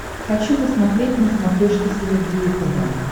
хочу посмотреть на смотрешке синергия тв